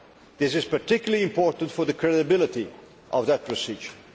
This is particularly important for the credibility of that procedure.